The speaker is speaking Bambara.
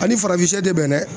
Ani farafin sɛ de bɛ n dɛ